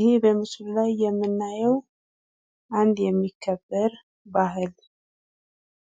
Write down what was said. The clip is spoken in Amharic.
ይህ በምስሉ ላይ የምናየው አንድ የሚከበር ባህል